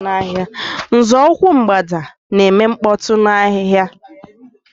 Nzọụkwụ Mgbada na-eme mkpọtụ n'ahịhịa.